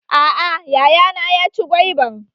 A'a yayana ya ci gwaiban